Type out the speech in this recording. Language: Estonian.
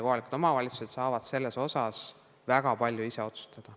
Kohalikud omavalitsused saavad selles osas väga palju ise otsustada.